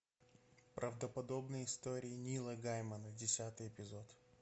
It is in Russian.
правдоподобные истории нила геймана десятый эпизод